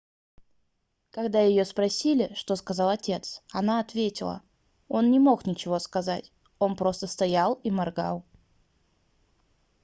когда её спросили что сказал отец она ответила он не мог ничего сказать он просто стоял и моргал